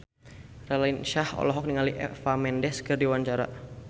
Raline Shah olohok ningali Eva Mendes keur diwawancara